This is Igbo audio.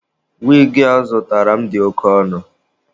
Wigi a ọ zụtara m dị oke ọnụ.